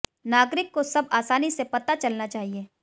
नागरिक को सब आसानी से पता चलना चाहिए